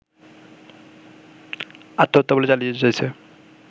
আত্মহত্যা বলে চালিয়ে দিতে চাইছে